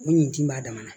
O ɲi b'a damana